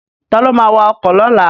Ta ló ma wa ọkọ̀ lọ́la?